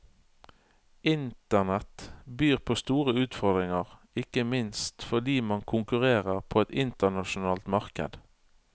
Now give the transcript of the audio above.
Internett byr på store utfordringer, ikke minst fordi man konkurrerer på et internasjonalt marked.